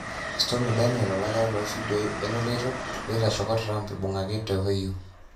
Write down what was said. Stomy Daniel:Olakira lofidioi eloloito loitishaka Trump ibungaki te Ohio